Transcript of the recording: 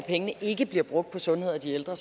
ikke bliver brugt på sundhed og de ældre